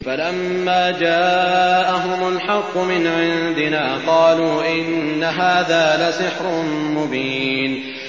فَلَمَّا جَاءَهُمُ الْحَقُّ مِنْ عِندِنَا قَالُوا إِنَّ هَٰذَا لَسِحْرٌ مُّبِينٌ